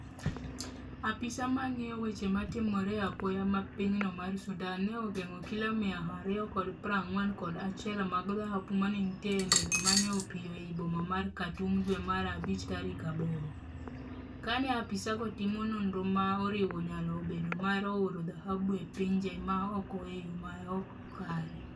Apise mang'iyo weche matimore apoya ma pinyno mar Sudan ne ogeng'o kilo mia ariyo kod pra ng'wen kod achiel mag dhahabu mane nitie e ndege mane opiyo ei boma mar Khartoum dwe mar abich tarik aboro, kane apisago timo nonro ma oriwo nyalo bedo mar oro dhahabu e pinje ma oko e yo maok kare.